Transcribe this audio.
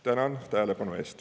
Tänan tähelepanu eest.